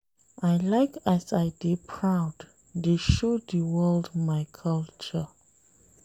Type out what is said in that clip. I like as I dey proud dey show di world my culture.